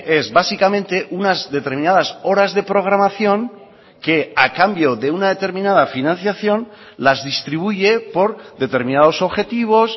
es básicamente unas determinadas horas de programación que a cambio de una determinada financiación las distribuye por determinados objetivos